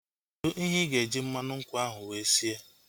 Kedụ ihe ịga eji mmanụ nkwụ ahu wee sie?